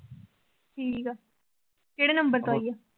ਠੀਕ ਆ, ਕਿਹੜੇ number ਤੋਂ ਆਈ ਆ?